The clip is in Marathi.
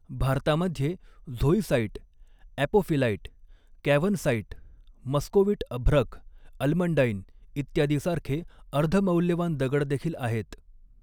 भारतामध्ये झोइसाइट, ऍपोफिलाइट, कॅव्हनसाइट, मस्कोविट अभ्रक, अल्मंडाइन इत्यादीसारखे अर्ध मौल्यवान दगड देखील आहेत.